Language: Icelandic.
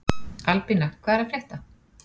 Albína, hvað er að frétta?